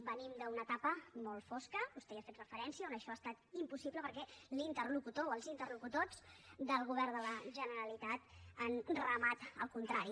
venim d’una etapa molt fosca vostè hi ha fet referència on això ha estat impossible perquè l’interlocutor o els interlocutors del govern de la generalitat han remat al contrari